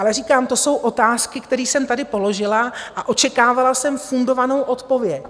Ale říkám: To jsou otázky, který jsem tady položila, a očekávala jsem fundovanou odpověď.